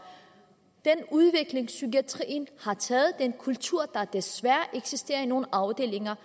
den udvikling psykiatrien har taget og for den kultur der desværre eksisterer i nogle afdelinger